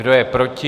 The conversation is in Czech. Kdo je proti?